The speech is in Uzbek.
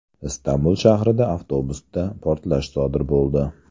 Istanbul shahrida avtobusda portlash sodir bo‘ldi.